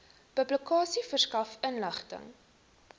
publikasie verskaf inligting